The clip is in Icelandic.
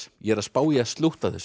ég er að spá í að slútta þessu